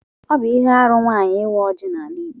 Ọ bụ ihe arụ nwaanyị ịwa ọjị n'ala Igbo